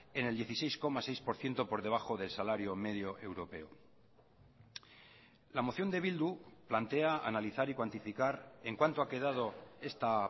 en el dieciséis coma seis por ciento por debajo del salario medio europeo la moción de bildu plantea analizar y cuantificar en cuánto ha quedado esta